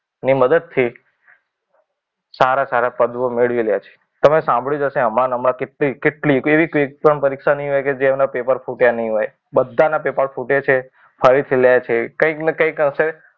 ની મદદથી સારા સારા પદો મેળવી લે છે. તમે સાંભળ્યું જ હશે, હમણાં ને હમણાં કેટલી કેટલી કેવી એક પણ પરીક્ષા નહીં હોય. કે જેના પેપર ફૂટ્યા નહીં હોય. બધાના પેપર ફૂટે છે. ફરીથી લેજે. કંઈક ને કંઈક હશે.